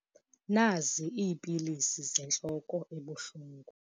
Nazi iipilisi zentloko ebuhlungu.